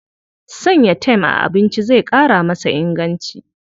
Sanya tem a abinci zai ƙara masa inganci.